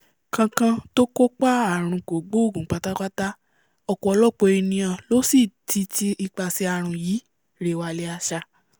kankan tó kápá àrùn kògbóògùn pátápátá ọ̀pọ̀lọpọ̀ ènìà ló sì ti ti ipasẹ̀ àrùn yìí rè'wàlẹ̀àsà